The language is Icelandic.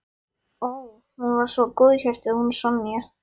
Ó, hún var svo góðhjörtuð hún Sonja.